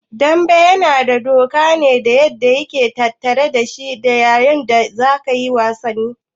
Dambe yana da doka ne da yake tattare dashi ta yanda za'a yi wasan?